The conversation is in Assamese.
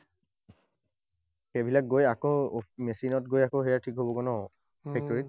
সেইবিলাক গৈ আকৌ machine ত গৈ আকৌ সেয়া ঠিক হবগৈ ন?